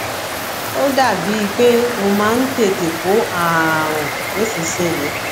ó dàbíi pé ó máa ń tètè kó ààrùn nísinsìnyí